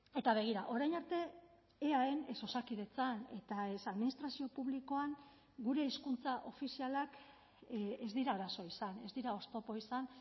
eta begira orain arte eaen ez osakidetzan eta ez administrazio publikoan gure hizkuntza ofizialak ez dira arazo izan ez dira oztopo izan